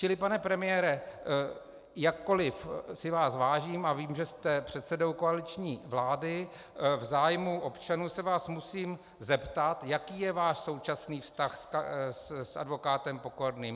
Čili pane premiére, jakkoliv si vás vážím a vím, že jste předsedou koaliční vlády, v zájmu občanů se vás musím zeptat, jaký je váš současný vztah s advokátem Pokorným.